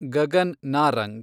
Gagan Narang